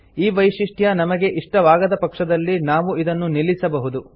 ಈ ವೈಶಿಷ್ಟ್ಯ ನಮಗೆ ಇಷ್ಟವಾಗದ ಪಕ್ಷದಲ್ಲಿ ನಾವು ಇದನ್ನು ನಿಲ್ಲಿಸಬಹುದು